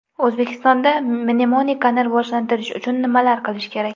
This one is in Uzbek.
O‘zbekistonda mnemonikani rivojlantirish uchun nimalar qilish kerak?